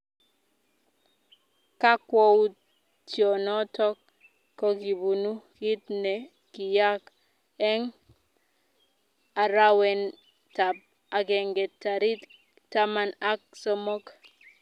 kakwoutienoto kokibunu kiit ne kiyaak eng arawetab agenge tarik taman ak somok